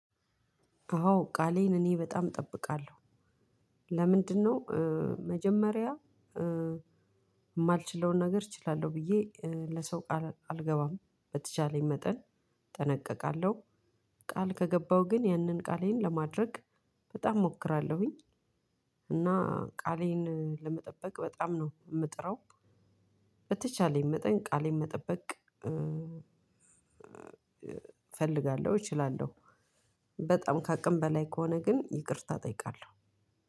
አዎ ቃሌን እኔ በጣም እጠብቃለሁ። ለምንድነው? መጀመሪያ የማልችለውን ነገር እችላለሁ ብዬ ለሰው ቃል አልገባም። በተቻለኝ መጠን እጠነቀቃለሁ። ቃል ከገባሁ ግን ያንን ቃሌን ለማድረግ በጣም እሞክራለሁኝ። እና ቃሌን ለመጠበቅ በጣም ነው የምጥረው። በተቻለኝ መጠን ቃሌን መጠበቅ እፈልጋለሁ እችላለሁ። በጣም ከአቅም በላይ ከሆነ ግን ይቅርታ እጠይቃለሁ።